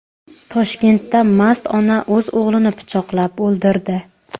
Toshkentda mast ona o‘z o‘g‘lini pichoqlab o‘ldirdi.